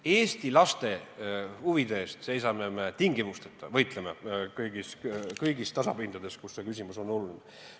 Eesti laste huvide eest seisame me tingimusteta, võitleme kõigil tasapindadel, kus see küsimus on oluline.